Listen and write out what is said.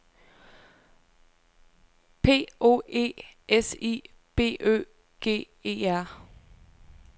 P O E S I B Ø G E R